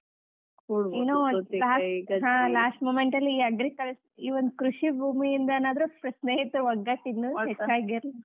last moment ಅಲ್ಲಿ ಈ agricul~ ಈ ಒಂದ್ ಕೃಷಿ ಭೂಮಿಯಿಂದನಾದ್ರೂ ಸ್ನೇಹಿತರ ಒಗ್ಗಟ್ಟು ಹೆಚ್ಚಾಗಿರಲಿ.